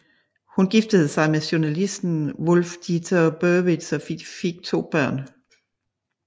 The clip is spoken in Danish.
Hun giftede sig med journalisten Wulf Dieter Burwitz og fik to børn